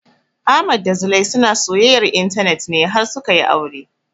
Ahmad da Zulai suna soyayyar intanet ne har suka yi aure